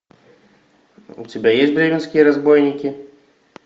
у тебя есть бременские разбойники